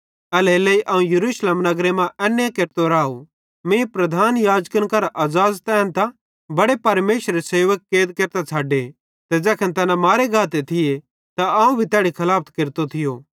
एल्हेरेलेइ अवं यरूशलेम नगरे मां एन्ने केरतो राव मीं प्रधान याजकन करां अज़ाज़त एन्तां बड़े परमेशरेरे सेवक कैद केरतां छ़डे ते ज़ैखन तैना मारे गाते थिये त अवं भी तैड़ी खलाफत केरतो थियो